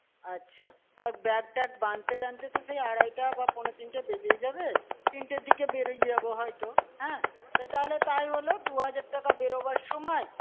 আচ্ছা, আর bag tag বাঁধতে-টাধতে তো সেই আড়াইটে বা পৌনে-তিনটে বেজেই যাবে। তিনটের দিকে বেরিয়ে যাবো হয়তো। হ্যাঁ, তাহলে তাই হলো। দু-হাজার টাকা বেরোবার সময়।